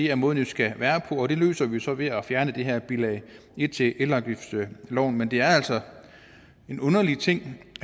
er måden det skal være på og det løser vi så ved at fjerne det her bilag en til elafgiftsloven men det er altså en underlig ting